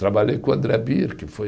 Trabalhei com o André Bier, que foi